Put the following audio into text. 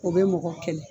O bɛ mɔgɔ kɛlɛ